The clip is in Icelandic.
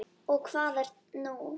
Og hvað er nú það?